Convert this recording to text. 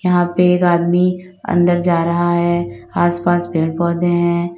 यहां पे एक आदमी अंदर जा रहा है आसपास पेड़ पौधे हैं।